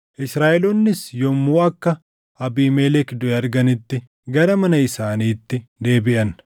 Israaʼeloonnis yommuu akka Abiimelek duʼe arganitti gara mana isaaniitti deebiʼan.